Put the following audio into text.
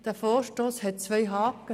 Der Vorstoss hat zwei Haken: